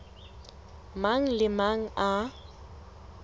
mang le a mang a